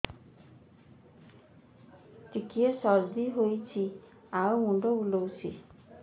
ଟିକିଏ ସର୍ଦ୍ଦି ହେଇଚି ଆଉ ମୁଣ୍ଡ ବୁଲାଉଛି